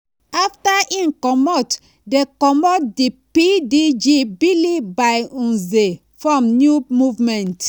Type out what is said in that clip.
afta im comot di comot di pdg bilie-by-nze form new movement